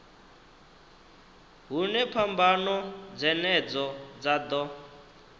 hune phambano dzenedzo dza ḓo